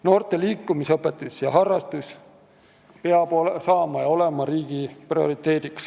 Noorte liikumisõpetus ja -harrastus peab olema riigi prioriteet.